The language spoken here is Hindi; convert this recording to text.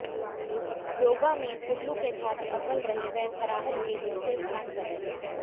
योगा में कुल्लू के छात्र अव्वल रहे व खराहल के दूसरे स्थान पर रहे